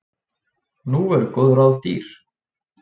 Nú eru góð ráð dýr!